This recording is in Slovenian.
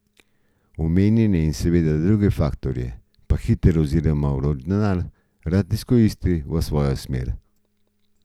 Omenjene in seveda druge faktorje pa hiter oziroma vroči denar rad izkoristi v svojo smer.